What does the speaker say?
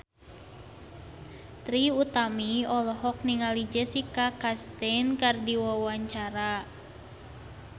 Trie Utami olohok ningali Jessica Chastain keur diwawancara